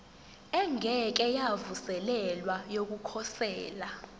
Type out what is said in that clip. engeke yavuselelwa yokukhosela